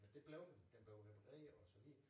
Men det blev den den blev repareret og så videre